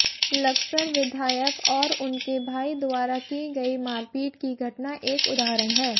लक्सर विधायक और उनके भाई द्वारा की गयी मारपीट की घटना एक उदाहरण है